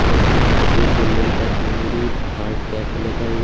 जहां एक बिल्डिंग पर हंगरी हार्ट कैफे लिखा हुआ--